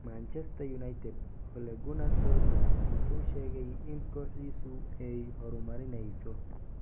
Manchester United: Ole Gunnar Solskjaer wuxuu sheegay in kooxdiisu 'ay horumarineyso'.